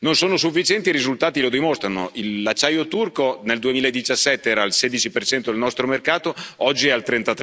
Non sono sufficienti e i risultati lo dimostrano l'acciaio turco nel 2017 era al 16 nel nostro mercato, oggi è al